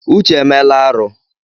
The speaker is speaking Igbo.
Uche emela arụ.